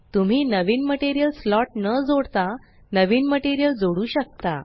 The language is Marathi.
तुम्ही नवीन मटेरियल स्लॉट न जोडता नवीन मटेरियल जोडू शकता